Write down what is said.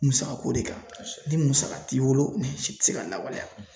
Musaka ko de kan, ni musaka t'i bolo, i ti se k'a lawaleya